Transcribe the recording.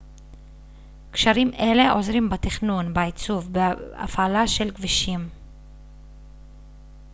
קשרים אלה עוזרים בתכנון בעיצוב ובהפעלה של כבישים